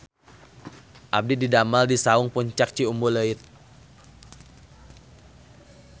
Abdi didamel di Saung Puncak Ciumbuleuit